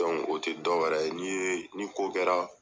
o te dɔ wɛrɛ ye ni ko kɛra